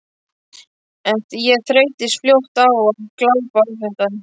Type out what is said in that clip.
En ég þreyttist fljótt á að glápa á þetta.